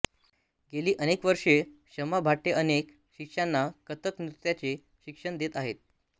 गेली अनेक वर्षे शमा भाटे अनेक शिष्यांना कथक नृत्याचे शिक्षण देत आहेत